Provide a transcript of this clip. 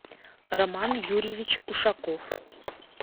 роман юрьевич ушаков